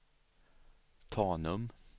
Tanum